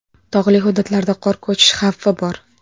Tog‘li hududlarda qor ko‘chish xavfi bor.